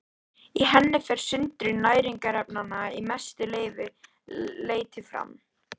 Í henni fer sundrun næringarefnanna að mestu leyti fram.